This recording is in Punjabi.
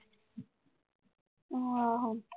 ਆਹੋ।